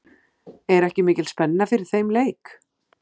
Er ekki mikil spenna fyrir þeim leik?